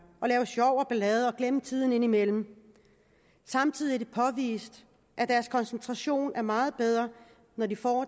lave sjov og ballade og glemmer tiden indimellem samtidig er det påvist at deres koncentrationsevne er meget bedre når de får